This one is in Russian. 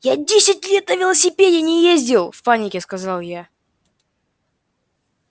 я десять лет на велосипеде не ездил в панике сказал я